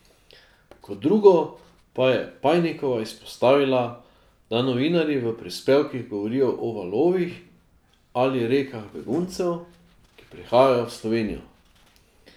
Kot drugo pa je Pajnikova izpostavila, da novinarji v prispevkih govorijo o valovih ali rekah beguncev, ki prihajajo v Slovenijo.